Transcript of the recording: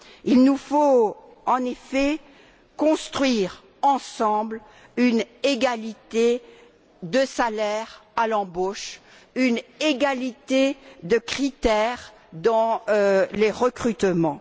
Il nous faut, en effet, construire ensemble une égalité de salaire à l'embauche et une égalité de critères dans les recrutements.